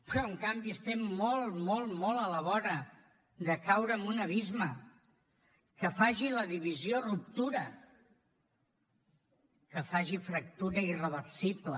però en canvi estem molt molt molt a la vora de caure en un abisme que faci la divisió o ruptura que faci fractura irreversible